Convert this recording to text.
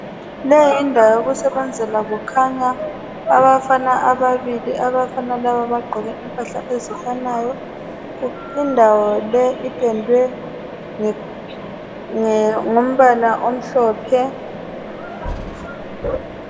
Le yindawo yokusebenzela kukhanya abafana ababili, abafana laba bagqoke impahla ezifanayo indawo le ipendwe ngombala omhlophe.